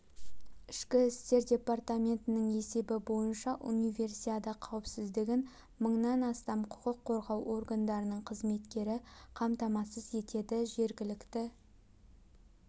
ішкі істер департаментінің есебі бойынша универсиада қауіпсіздігін мыңнан астам құқық қорғау органдарының қызметкері қамтамасыз етеді жергілікті